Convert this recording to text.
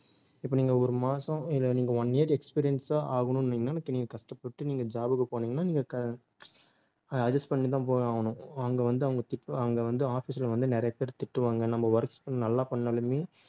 இப்ப நீங்க ஒரு மாசம் இல்லை நீங்க one year experience ஆ ஆகணும்னீங்கன்னா அதுக்கு நீங்க கஷ்டப்பட்டு நீங்க job க்கு போனீங்கன்னா நீங்க க~ adjust பண்ணிட்டுதான் போயாகணும் அங்க வந்து அவங்க திட்~ அங்க வந்து office ல வந்து நிறைய பேர் திட்டுவாங்க நம்ம work நல்லா பண்ணாலுமே